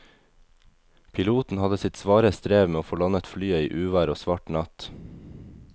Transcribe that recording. Piloten hadde sitt svare strev med å få landet flyet i uvær og svart natt.